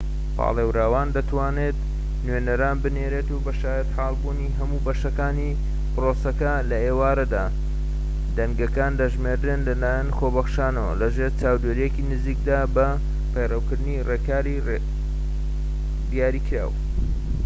پاڵێوراوان دەتوانن نوێنەران بنێرن بۆ شایەتحالبوونی هەموو بەشەکانی پرۆسەکە لە ئێوارەدا دەنگەکان دەژمێردرێن لەلایەن خۆبەخشانەوە لەژێر چاودێریەکی نزیکدا بە پەیڕەوکردنی ڕێکاریی دیاریکراو